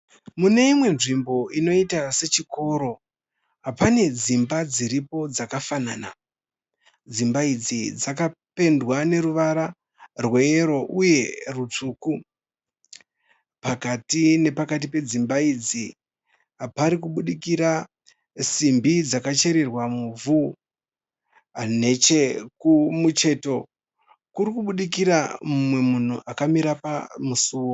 Muneimwe nzvimbo inoita sechikoro, pane dzimba dziripo dzakafanana. Dzimba idzi dzakapendwa neruvara rweyero uye rutsvuku. Pakati nepakati pedzimba idzi parikubudikira simbi dzakachererwa muvhu. Nechekumucheto, kurikubudikira mumwe munhu akamira pamusuwo.